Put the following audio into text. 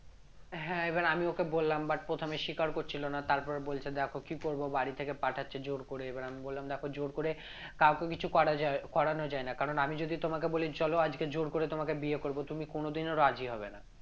হ্যাঁ, এবার আমি ওকে বললাম but প্রথমে স্বীকার করছিল না তারপর বলছে, দেখো কি করব বাড়ি থেকে পাঠাচ্ছে জোর করে এবার আমি বললাম দেখো জোর করে কাউকে কিছু করা যাবে করানো যায় না কারণ আমি যদি তোমাকে বলি চলো আজকে জোর করে তোমাকে বিয়ে করব তুমি কোনদিনও রাজি হবে না